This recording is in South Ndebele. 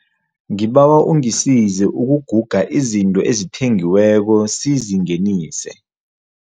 Ngibawa ungisize ukuguga izinto ezithengiweko sizingenise.